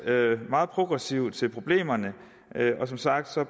meget progressivt til problemerne og som sagt